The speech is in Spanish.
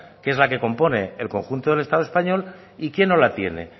que es la que compone el conjunto del estado español y quién no la tiene